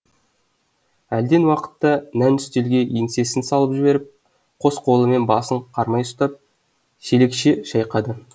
әлден уақытта нән үстелге еңсесін салып жіберіп қос қолымен басын қармай ұстап шелекше шайқады